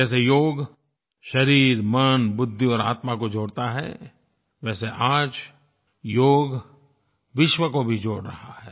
जैसे योग शरीर मन बुद्धि और आत्मा को जोड़ता है वैसे आज योग विश्व को भी जोड़ रहा है